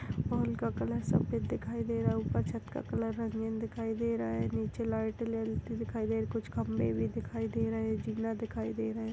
Wall का colour सफेद दिखाई दे रहा है ऊपर छत का कलर रंगीन दिखाई दे रहा है नीचे लाइट दिखाई दे रही है कुछ खंम्बे भी दिखाई दे रहे है जिना दिखाई दे रहे है।